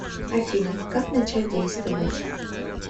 афина как начать действовать